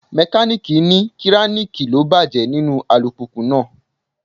Mekaniiki ní kiraniki ló bàjẹ́ nínú alùpùpù náà.